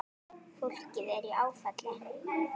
Fólkið er í áfalli.